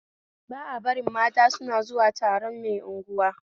Ba a barin mata suna zuwa taron mai unguwa